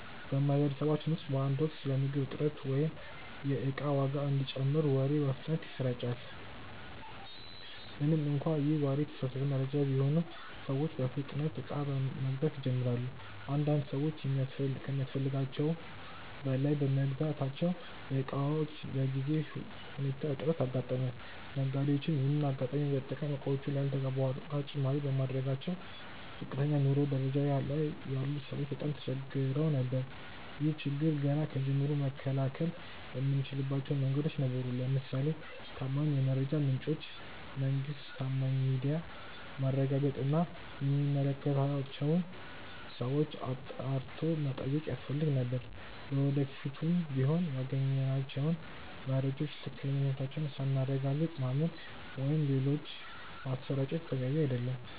በማህበረሰባችን ውስጥ በአንድ ወቅት ስለ ምግብ እጥረት ወይም የእቃ ዋጋ እንደሚጨምር ወሬ በፍጥነት ይሰራጫል። ምንም እንኳን ይህ ወሬ የተሳሳተ መረጃ ቢሆንም፤ ሰዎች በፍጥነት እቃ መግዛት ይጀምራሉ። አንዳንድ ሰዎች ከሚያስፈልጋቸው በላይ በመግዛታቸው የእቃዎች በጊዜያዊ ሁኔታ እጥረት አጋጠመ። ነጋዴዎችም ይሄንን አጋጣሚ በመጠቀም በእቃዎቹ ላይ ያልተገባ የዋጋ ጭማሪ በማድረጋቸው ዝቅተኛ የኑሮ ደረጃ ላይ ያሉ ሰዎች በጣም ተቸግረው ነበር። ይህን ችግር ገና ከጅምሩ መከላከል የምንችልባቸው መንገዶች ነበሩ። ለምሳሌ ከታማኝ የመረጃ ምንጮች (መንግስት፣ ታማኝ ሚዲያ)ማረጋገጥ እና የሚመለከታቸውን ሰዎች አጣርቶ መጠየቅ ያስፈልግ ነበር። ለወደፊቱም ቢሆን ያገኘናቸውን መረጃዎች ትክክለኛነታቸውን ሳናረጋግጥ ማመን ወይም ሌሎች ማሰራጨት ተገቢ አይደለም።